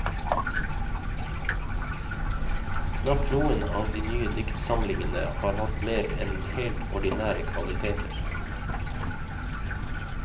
Knapt noen av de nye diktsamlingene har hatt mer enn helt ordinære kvaliteter.